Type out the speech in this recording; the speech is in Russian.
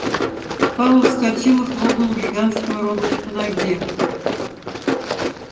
пауэлл вскочил и хлопнул гигантского робота по ноге